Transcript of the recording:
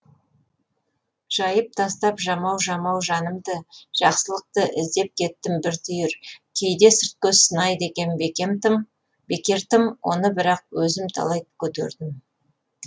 жайып тастап жамау жамау жанымды жақсылықты іздеп кеттім бір түйір кейде сырт көз сынайды екен бекер тым оны бірақ өзім талай көтердім